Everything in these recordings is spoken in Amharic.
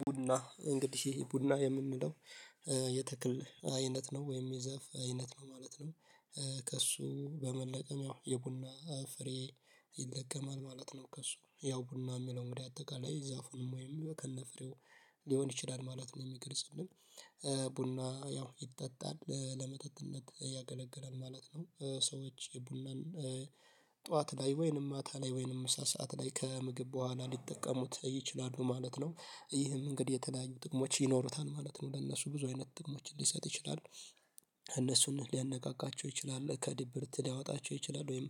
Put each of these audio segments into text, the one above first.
ቡና እንግዲህ ቡና የምንለው የተክል አይነት ነው ወይም የዛፍ አይነት ነው ማለት ነው። ከእሱ በመለቀም ያው የቡና ፍሬ ይለቀማል ማለት ነው። ከእሱ ያው ቡና የሚለው እንግዲህ አጠቃላይ ዛፉንም ወይም ከነፍሬው ሊሆን ይችላል ማለት ነው የሚገልጽ ቡና ያው ይጠጣል ለመጠጥነት ያገለግላል ማለት ነው። ሰዎች ቡናን ጠዋት ላይ ወይንም ማታ ላይ ወይንም ምሳ ሰዓት ላይ ከምግብ በኋላ ሊጠቀሙት ይችላሉ ማለት ነው። ይህም እንግዲህ የተለያዩ ጥቅሞች ይኖሩታል ማለት ነው ለእነሱ ብዙ አይነት ጥቅሞችን ሊሰጥ ይችላል። እነሱን ሊያነቃቃቸው ይችላል ከድብርት ሊያወጣቸው ይችላል ወይም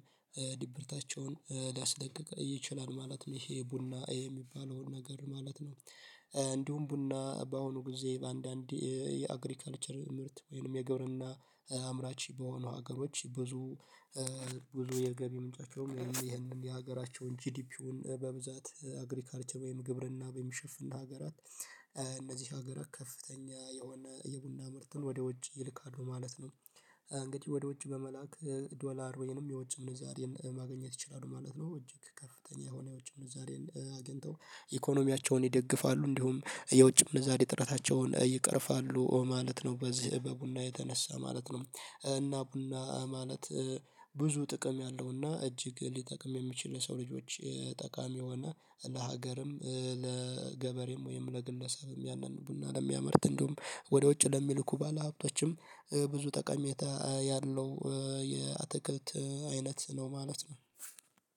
ድብርታቸውን ሊያስለቅቅ ይችላል ማለት ነው ይሄ ቡና የሚባለውን ነገር ማለት ነው። እንዲሁም ቡና በአሁኑ ጊዜ በአንዳንድ የአግሪካልቸር ምርት ወይንም የግብርና አምራች በሆኑ ሀገሮች ብዙ ብዙ የገቢ ምንጮቸውም ይህንን የሀገራቸውን ጂዲፒውን በብዛት አግሪካልቸር ወይም ግብርና በሚሸፍን ሀገራት እነዚህ ሀገራት ከፍተኛ የሆነ የቡና ምርትን ወደ ውጭ ይልካሉ ማለት ነው። እንግዲህ ወደ ውጭ በመላክ ዶላር ወይንም የውጭ ምንዛሬን ማግኘት ይችላሉ ማለት ነው። እጅግ ከፍተኛ የሆነ የውጭ ምንዛሬን አግኝተው ኢኮኖሚያቸውን ይደግፋሉ እንዲሁም የውጭ ምንዛሬ ጥረታቸውን ይቅርፋሉ ማለት ነው። በዚህ በቡና የተነሳ ማለት ነው። እና ቡና ማለት ብዙ ጥቅም ያለውና እጅግ ሊጠቅም የሚችል የሰው ልጆች ጠቃሚ የሆነ ለሀገርም ለገበሬም ወይም ለግለሰብም ያንን ቡና ለሚያመርት እንዲሁም ወደ ውጭ ለሚልኩ ባለሀብቶችም ብዙ ጠቀሜታ ያለው የአተክልት አይነት ነው ማለት ነው